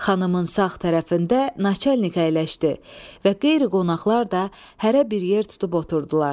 Xanımın sağ tərəfində naçalnik əyləşdi və qeyri-qonaqlar da hərə bir yer tutub oturdular.